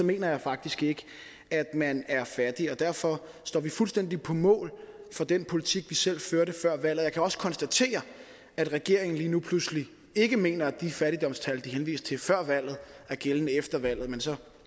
mener jeg faktisk ikke at man er fattig og derfor står vi fuldstændig på mål for den politik vi selv førte før valget jeg kan også konstatere at regeringen lige nu pludselig ikke mener at de fattigdomstal de henviste til før valget er gældende efter valget men så